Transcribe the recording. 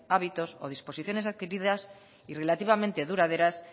hábitos o disposiciones adquiridas y relativamente duraderas